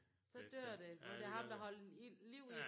Så dør det når det ham der holdt ild liv i det